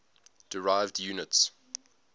derived units